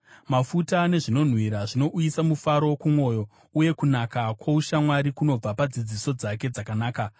Mafuta nezvinonhuhwira zvinouyisa mufaro kumwoyo, uye kunaka kwoushamwari kunobva padzidziso dzake dzakanaka.